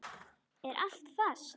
Er allt fast?